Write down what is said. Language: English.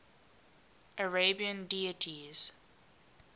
arabian deities